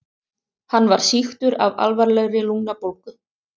Hann var sýktur af alvarlegri lungnabólgu.